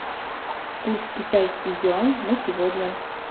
курс китайский юань на сегодня